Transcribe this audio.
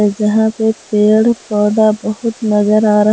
जहां पे पेड़ पौधा बहुत नजर आ रहा।